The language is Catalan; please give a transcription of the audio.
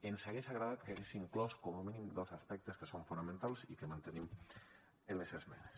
ens hagués agradat que hagués inclòs com a mínim dos aspectes que són fonamentals i que mantenim en les esmenes